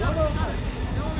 davam edir.